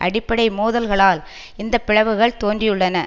அடிப்படை மோதல்களால் இந்த பிளவுகள் தோன்றியுள்ளன